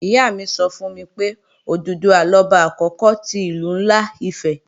Ìyá mi sọ fún mi pé, Òdùduwà lọba àkókò ti Ìlú ńlá Ifẹ̀